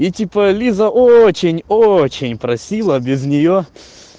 и типа лиза очень очень просила без нее